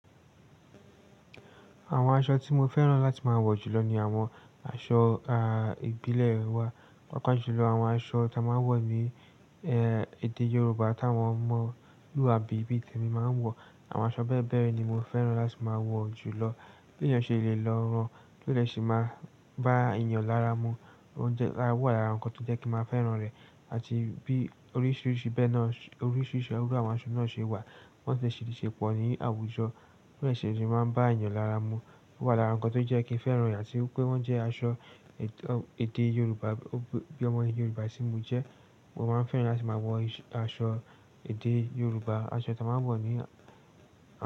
Àwọn aṣọ tí mo fẹ́ràn láti máa wọ jùlọ ni àwọn aṣọ, a, ìbílẹ̀ wa, pàápàá jùlọ àwọn aṣọ ta máa ń wọ̀ ní, ẹ, èdè Yoruba táwọn omọ̀luabi, bí i tẹ̀mí máa ń wọ̀. Àwọn aṣọ bẹ́ẹ̀ bẹ́ẹ̀ ni mo fẹ́ràn láti máa wọ̀ jùlọ. Bi èèyàn ṣe lè lọ rán, to de sì máa bá èèyàn lára mu. Ó jẹ, ó wà lára nǹkan tó jẹ́ kí n máa fẹ́ràn rẹ̀. Àti bí oríṣiríṣi bẹ́ẹ náà, oríṣiríṣi irú àwọn aṣọ náà ṣe wà, wọ́n sì ṣì ṣe pọ̀ ní àwùjọ, pé ose sì máa ń bá èèyàn lára mu. Ó wà lára nǹkan tó jẹ́ kí n fẹ́ràn ìyá tí pé wọ́n jẹ́ aṣọ èdè Yorùbá bí i ọmọ ẹni Yorùbá tí mo jẹ́. Mo máa ń fẹ́ràn láti máa wọ aṣọ èdè Yorùbá, aṣọ táa máa ń wọ̀ ní.